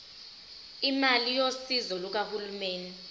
imali yosizo lukahulumeni